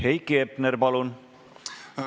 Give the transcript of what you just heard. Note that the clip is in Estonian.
Heiki Hepner, palun!